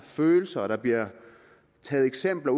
følelser og der bliver taget eksempler